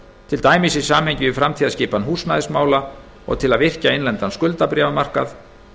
til dæmis í samhengi við framtíðarskipan húsnæðismála og til að virkja innlendan skuldabréfamarkað